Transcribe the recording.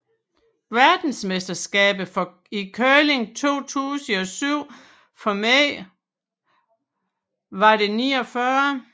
Verdensmesterskabet i curling 2007 for mænd var det 49